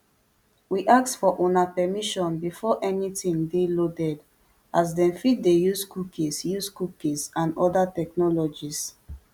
we ask for una permission before anytin dey loaded as dem fit dey use cookies use cookies and oda technologies